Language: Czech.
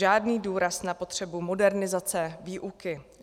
Žádný důraz na potřebu modernizace výuky.